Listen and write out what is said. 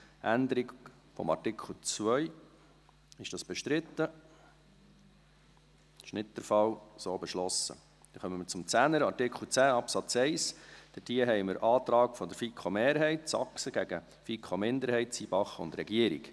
Zu Artikel 10 Absatz 1 haben wir einen Antrag der FiKo-Mehrheit, Saxer, gegen einen Antrag FiKo-Minderheit, Zybach und Regierung.